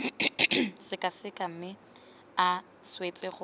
sekaseka mme a swetse gore